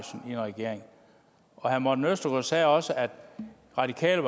en regering herre morten østergaard sagde også at radikale